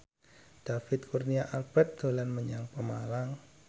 David Kurnia Albert dolan menyang Pemalang